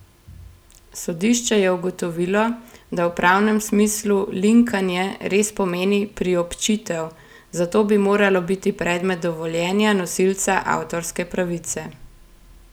Sodišče je ugotovilo, da v pravnem smislu linkanje res pomeni priobčitev, zato bi moralo biti predmet dovoljenja nosilca avtorske pravice.